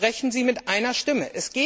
Sprechen Sie mit einer Stimme!